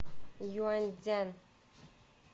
юаньцзян